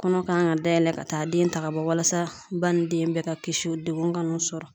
Kɔnɔ kan ka dayɛlɛ ka taa den ta ka bɔ, walasa ba ni den bɛɛ ka kisi dekun ka n'u sɔrɔ.